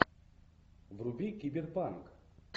вруби киберпанк